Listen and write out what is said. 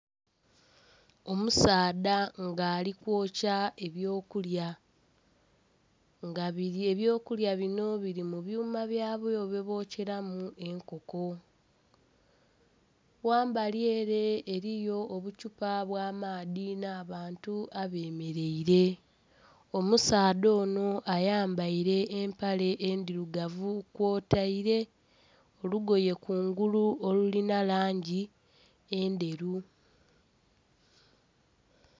Omusaadha nga ali kwokya ebyo kulya nga ebyo kulya binho biri mu byuma byabyo bye bokyeramu enkoko ghambali ere eriyo obuthupa obwa maadhi nha abantu abemereire. Omusaadha onho ayambaire empale endhirugavu kwotaire olugoye kungulu olulinha langi endheru.